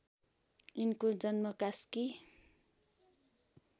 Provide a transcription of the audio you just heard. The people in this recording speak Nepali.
यिनको जन्म कास्की